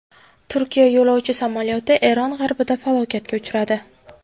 Turkiya yo‘lovchi samolyoti Eron g‘arbida halokatga uchradi.